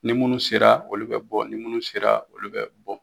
Ni munnu sera olu be bɔ ni munnu sera olu be bɔ